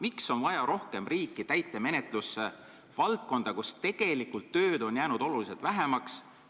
Miks on vaja rohkem riiki täitemenetlusse, valdkonda, kus tegelikult tööd on jäänud oluliselt vähemaks?